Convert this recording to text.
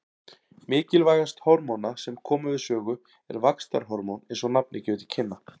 Mikilvægast hormóna sem koma við sögu er vaxtarhormón eins og nafnið gefur til kynna.